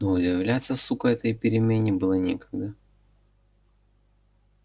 но удивляться сука этой перемене было некогда